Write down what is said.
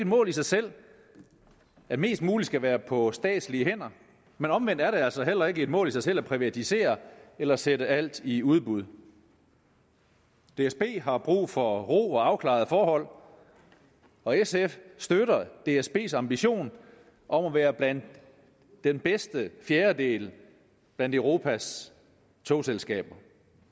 mål i sig selv at mest muligt skal være på statslige hænder men omvendt er det altså heller ikke et mål i sig selv at privatisere eller sætte alt i udbud dsb har brug for ro og afklarede forhold og sf støtter dsbs ambition om at være blandt den bedste fjerdedel af europas togselskaber